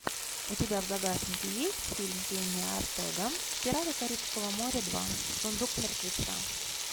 у тебя в загашнике есть фильм кенни ортега пираты карибского моря два сундук мертвеца